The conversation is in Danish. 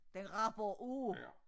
Den rapper af